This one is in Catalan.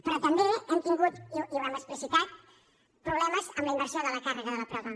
però també hem tingut i ho hem explicitat problemes amb la inversió de la càrrega de la prova